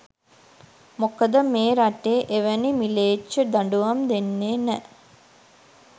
මොකද මේ රටේ එවැනි මිලේච්ඡ දඬුවම් දෙන්නෙ නැ.